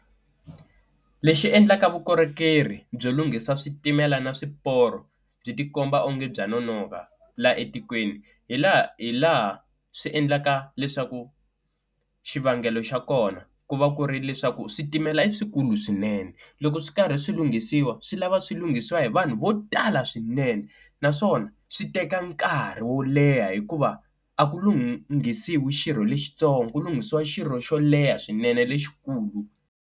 Lexi endlaka vukorhokeri byo lunghisa switimela na swiporo byi tikomba onge bya nonoka laha etikweni, hi laha swi endlaka leswaku xivangelo xa kona ku va ku ri leswaku switimela i swikulu swinene, loko swi karhi swi lunghisiwa swi lava swi lunghisiwa hi vanhu vo tala swinene. Naswona swi teka nkarhi wo leha hikuva a ku lunghisiwa xirho lexitsongo ku lunghisiwa xirho xo leha swinene lexikulu.